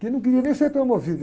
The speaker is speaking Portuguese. que não queria nem ser promovido.